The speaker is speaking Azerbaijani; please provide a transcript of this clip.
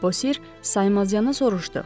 Bosir saymazayana soruşdu.